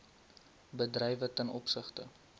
bedrywe ten opsigte